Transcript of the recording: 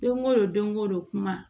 Don ko don ko don kuma